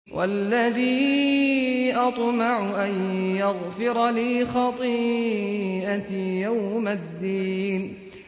وَالَّذِي أَطْمَعُ أَن يَغْفِرَ لِي خَطِيئَتِي يَوْمَ الدِّينِ